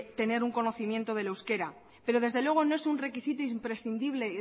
tener un conocimiento del euskera pero desde luego no es un requisito imprescindible